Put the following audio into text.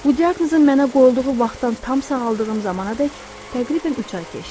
Bu diaqnozun mənə qoyulduğu vaxtdan tam sağaldığım zamanadək təqribən üç ay keçdi.